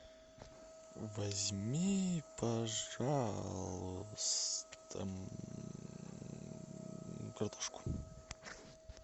возьми пожалуйста картошку